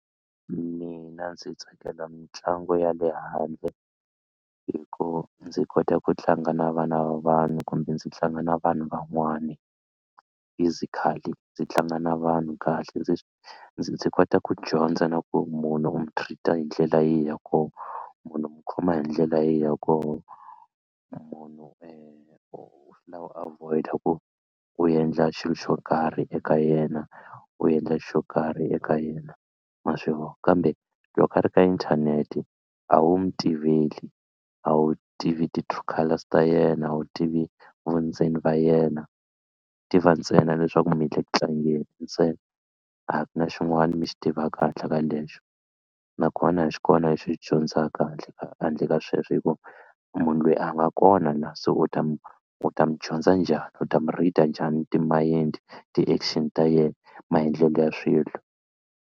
Mina ndzi tsakela mitlangu ya le handle hi ku ndzi kota ku tlanga na vana va vanhu kumbe ndzi tlanga na vanhu van'wani physically ndzi tlanga na vanhu kahle ndzi ndzi kota ku dyondza na ku munhu u mu treat-a hi ndlela ya koho munhu u mu khoma hi ndlela ya koho munhu swi lava u avoid-a ku u endla xilo xo karhi eka yena u endla xo karhi eka yena ma swi vona kambe loko a ri ka inthanete a wu mi tiveli a wu tivi ti-true colours ta yena a wu tivi vundzeni va yena tiva ntsena leswaku mi le ku tlangeni ntsena a ku na xin'wana mi xi tivaka handle ka lexo nakona a xi kona lexi u xi dyondzaka handle ka handle ka sweswo hi ku munhu loyi a nga kona la se u ta mu u ta mu dyondza njhani u ta mu read-a njhani ti-mind-i ti-action ta yena maendlelo ya swilo.